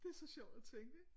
Det er så sjovt at tænke ikke